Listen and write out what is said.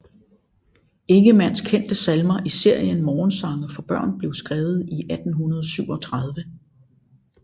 Ingemanns kendte salmer i serien Morgensange for Børn blev skrevet i 1837